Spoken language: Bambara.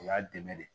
O y'a dɛmɛ de